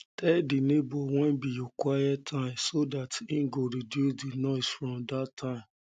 tell di neighbour when be your quiet time so dat im go reduce di noise for that time